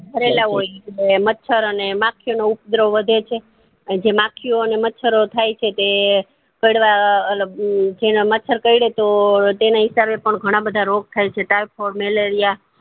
ભરેલ હોય ઈ મચ્છર અને માંખીયો નું ઉપગ્રહ વધે છે એન જે માંખીયો ઓને મચ્છર થાય છે એ કડવા બધું જેને મચ્છર કરડે તો તેને હિસાબે પણ ઘણા બધા રોગ થાય છે typhoid malaria